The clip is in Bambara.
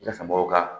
mɔgɔw ka